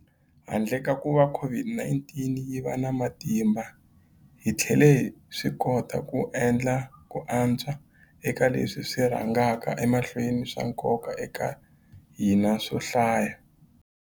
Handle ka kuva COVID-19 yi va na matimba, hi tlhele hi swikota ku endla ku antswa eka leswi swi rhangaka emahlweni swa nkoka eka hina swo hlaya.